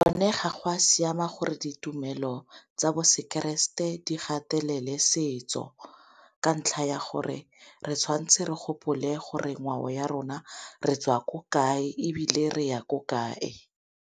Go ne ga go a siama gore ditumelo tsa bo seng keresete di gatelele setso, ka ntlha ya gore re tshwantse re gopole gore ngwao ya rona re tswa ko kae ebile re ya ko kae.